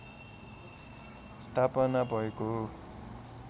स्थापना भएको हो